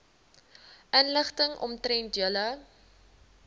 inligting omtrent julle